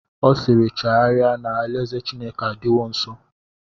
Ọ siiri, chegharịa na alaeze Chineke adịwo nsọ!